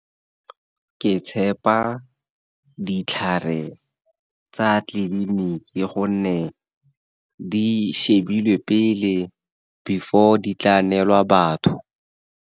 Ke tshepa ditlhare tsa tleliniki gonne di shebile pele before di tla neelwa batho.